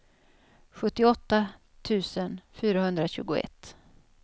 sjuttioåtta tusen fyrahundratjugoett